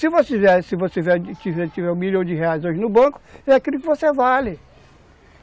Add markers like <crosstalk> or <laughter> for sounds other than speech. Se você tiver tiver <unintelligible> um milhão de reais hoje no banco, é aquilo que você vale.